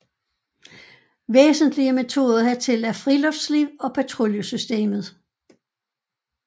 Væsentlige metoder hertil er friluftsliv og patruljesystemet